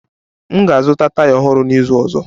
M ga-azụta taya ọhụrụ n'izu ọzọ